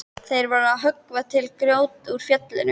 Þeir voru að höggva til grjót úr fjallinu.